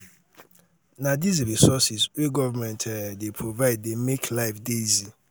um na these resources um wey government um dey provide dey make life dey easy.